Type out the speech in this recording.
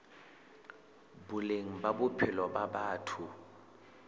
boleng ba bophelo ba batho